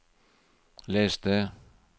les det